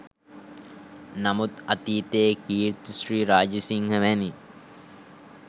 නමුත් අතීතයේ කීර්ති ශ්‍රී රාජසිංහ වැනි